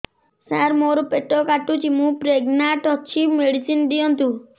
ସାର ମୋର ପେଟ କାଟୁଚି ମୁ ପ୍ରେଗନାଂଟ ଅଛି ମେଡିସିନ ଦିଅନ୍ତୁ